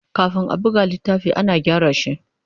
Kafin a buga littafi, ana gyara shi.